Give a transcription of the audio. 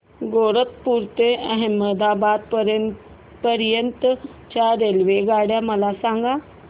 गैरतपुर ते अहमदाबाद पर्यंत च्या रेल्वेगाड्या मला सांगा